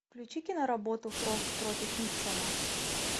включи киноработу фрост против никсона